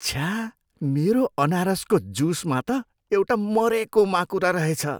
छ्या! मेरो अनारसको जुसमा त एउटा मरेको माकुरा रहेछ।